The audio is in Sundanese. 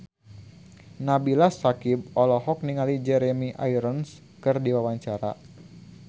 Nabila Syakieb olohok ningali Jeremy Irons keur diwawancara